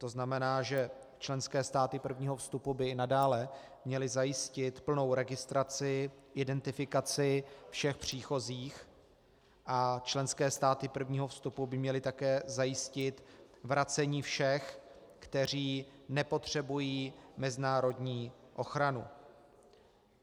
To znamená, že členské státy prvního vstupu by nadále měly zajistit plnou registraci, identifikaci všech příchozích a členské státy prvního vstupu by měly také zajistit vracení všech, kteří nepotřebují mezinárodní ochranu.